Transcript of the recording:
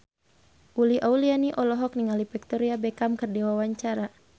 Uli Auliani olohok ningali Victoria Beckham keur diwawancara